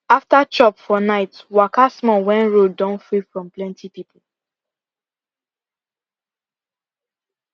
after chop for night waka small when road don free from plenty people